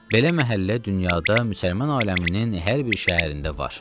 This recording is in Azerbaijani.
Belə məhəllə dünyada müsəlman aləminin hər bir şəhərində var.